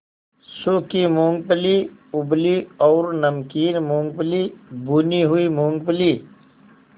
सूखी मूँगफली उबली और नमकीन मूँगफली भुनी हुई मूँगफली